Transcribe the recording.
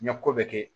N ye ko bɛɛ kɛ